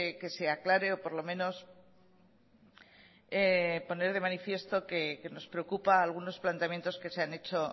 que se aclare o por lo menos poner de manifiesto que nos preocupa algunos planteamientos que se han hecho